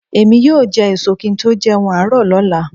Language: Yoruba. Èmi yóò jẹ ẹ̀so kí n tó jẹun àárọ̀ lọ́la